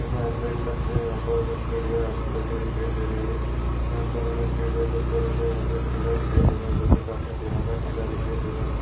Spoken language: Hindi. हम देख सखते है यहा पर हमे सीढ़िया हाथ लगी दिखाई दे रही है यहा पर हमे सीढ़िया के उपर हमे यहा पे एक किला दिखाई दे रहा है जो की काफी पुराना किला दिखाई दे रहा है।